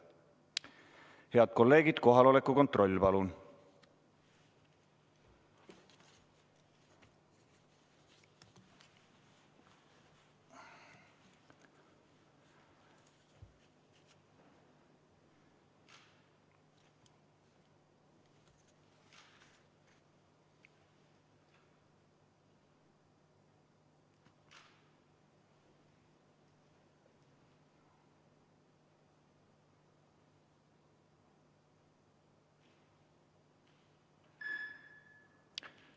Head kolleegid, kohaloleku kontroll, palun!